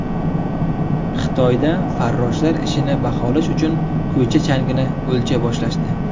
Xitoyda farroshlar ishini baholash uchun ko‘cha changini o‘lchay boshlashdi.